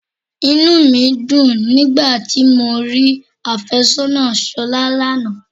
Inú mi dùn nígbà tí mo rí afésónà Ṣolá lánàá.